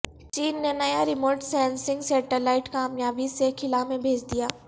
چین نے نیا remote sensing satellite کامیابی سے خلا میں بھیج دیا